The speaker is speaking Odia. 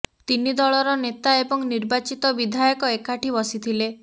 ତିନି ଦଳର ନେତା ଏବଂ ନିର୍ବାଚିତ ବିଧାୟକ ଏକାଠି ବସିଥିଲେ